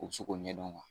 U bɛ se k'o ɲɛdɔn